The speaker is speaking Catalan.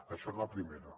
això en la primera